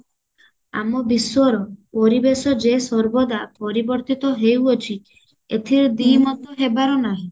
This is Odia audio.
ଆମ ବିଶ୍ଵର ପରିବେଶ ଯେ ସର୍ବଦା ପରିବର୍ତିତ ହେଉଅଛି ଏଥିରେ ଦିମତ ହେବାର ନାହିଁ